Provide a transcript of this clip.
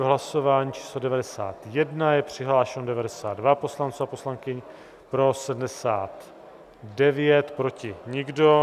V hlasování číslo 91 je přihlášeno 92 poslanců a poslankyň, pro 79, proti nikdo.